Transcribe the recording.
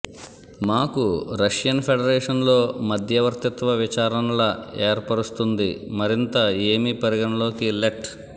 మాకు Russian Federation లో మధ్యవర్తిత్వ విచారణల ఏర్పరుస్తుంది మరింత ఏమి పరిగణలోకి లెట్